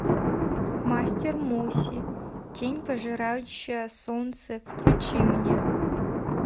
мастер муси тень пожирающая солнце включи мне